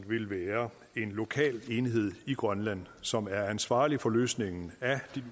vil være en lokal enhed i grønland som er ansvarlig for løsningen af de